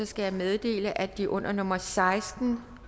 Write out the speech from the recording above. skal jeg meddele at de under nummer seksten